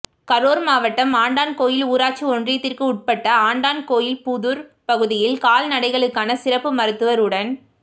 கரூர் மாவட்டம் ஆண்டான்கோவில் ஊராட்சி ஒன்றியத்திற்கு உட்பட்ட ஆண்டான்கோவில் புதூர் பகுதியில் கால்நடைகளுக்கான சிறப்பு மருத்துவர் உடன்